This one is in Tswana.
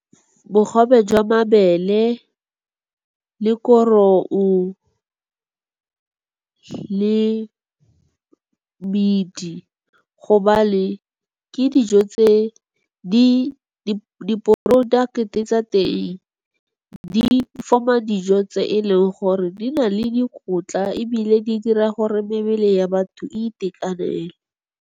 Bogobe jwa mabele, le koro , le bete, gobane di-product tsa teng di-form-a dijo tse e leng gore di na le dikotla ebile di dira gore mebele ya batho itekanele.